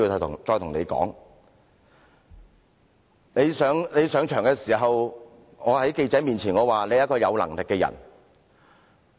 當他上場時，我在記者面前說他是一個有能力的人。